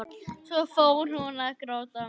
Svo fór hún að gráta.